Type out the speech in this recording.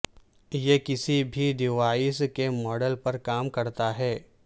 یہ کسی بھی ڈیوائس کے ماڈل پر کام کرتا ہے